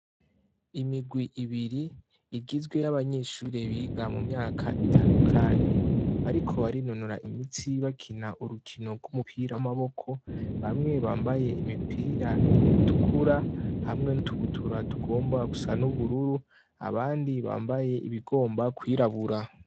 Imigwi ibiri igizwe y'abanyeshure biga mu myaka itandukanye ariko barinonora imitsi bakina urukino rw'umupira w'amaboko bamwe bambaye imipira itukura hamwe nutubutura tugomba gusa n'ubururu abandi bambaye ibigomba kwirabura.